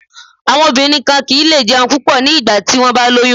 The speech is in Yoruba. Àwọn obìnrin kan kì ń lé jẹun púpọ̀ ní ìgbà tí wón bá lóyún.